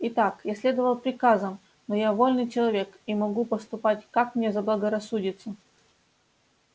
и так я следовал приказам но я вольный человек и могу поступать как мне заблагорассудится